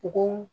Bɔgɔ